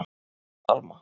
Alma